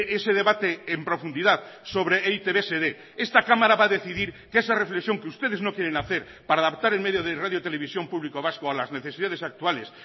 ese debate en profundidad sobre e i te be se dé esta cámara va a decidir que esa reflexión que ustedes no quieren hacer para adaptar el medio de radio televisión público vasco a las necesidades actuales